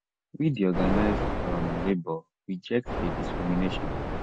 we di organised um labour reject di discrimination